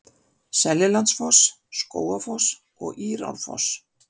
Seljalandsfoss, Skógafoss og Írárfoss.